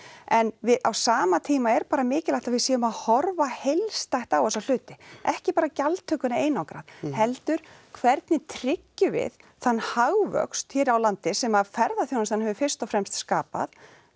en á sama tíma er bara mikilvægt að við séum að horfa heildstætt á þessa hluti ekki bara gjaldtökuna einangrað heldur hvernig tryggjum við þann hagvöxt hér á landi sem að ferðaþjónustan hefur fyrst og fremst skapað